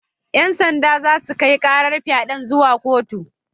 Yan sanda za su kai karar fyaden zuwa kotu.